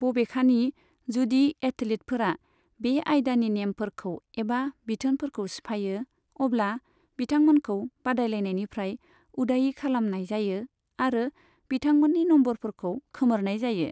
बबेखानि, जुदि एथलीटफोरा बे आयदानि नेमफोरखौ एबा बिथोनफोरखौ सिफायो, अब्ला बिथांमोनखौ बादायलायनायनिफ्राय उदायै खालामनाय जायो आरो मिथांमोननि नम्बरफोरखौ खोमोरनाय जायो।